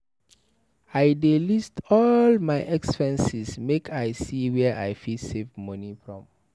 I dey list all my expenses make I see where I fit save moni from.